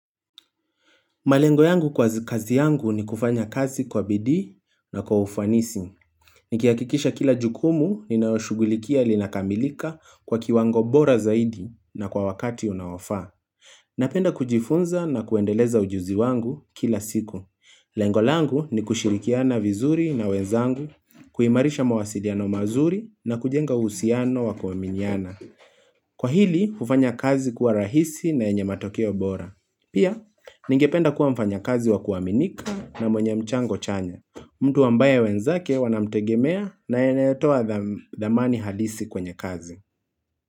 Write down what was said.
Malengo yangu kwa kazi yangu ni kufanya kazi kwa bidii na kwa ufanisi. Nikihakikisha kila jukumu ninayoshughulikia linakamilika kwa kiwango bora zaidi na kwa wakati unaofaa. Napenda kujifunza na kuendeleza ujuzi wangu kila siku. Lengo langu ni kushirikiana vizuri na wenzangu, kuimarisha mawasiliano mazuri na kujenga uhusiano wakuaminiana. Kwa hili, ufanya kazi kuwa rahisi na yenye matokeo bora. Pia, ningependa kuwa mfanya kazi wa kuaminika na mwenye mchango chanya. Mtu ambaye wenzake wanamtegemea na anayetoa thamani halisi kwenye kazi.